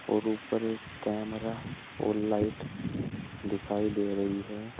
और ऊपर एक कैमरा और लाइट दिखाई दे रही है।